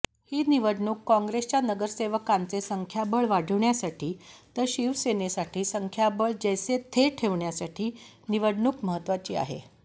ही निवडणूक काँगेसच्या नगरसेवकांचे संख्याबळ वाढवण्यासाठी तर शिवसेनेसाठी संख्याबळ जैसे थे ठेवण्यासाठी निवडणूक महत्वाची आहे